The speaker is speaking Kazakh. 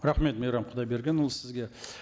рахмет мейрам құдайбергенұлы сізге